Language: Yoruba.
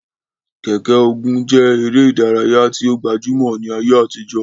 Keke-Ogun je ere idaraya ti o gbajumo ni aye atijo.